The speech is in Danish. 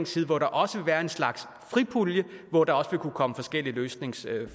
side hvor der også vil være en slags fripulje hvor der vil kunne komme forskellige løsningsforslag